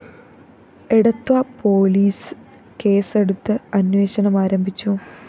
Edathua police കേസെടുത്ത് അന്വേഷണം ആരംഭിച്ചു